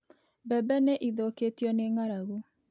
Mbembe nĩ ithũkĩtio nĩ ng’aragu.